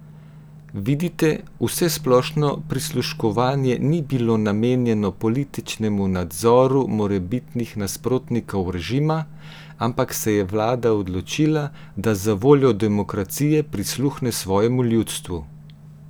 Vidite, vsesplošno prisluškovanje ni bilo namenjeno političnemu nadzoru morebitnih nasprotnikov režima, ampak se je vlada odločila, da zavoljo demokracije prisluhne svojemu ljudstvu!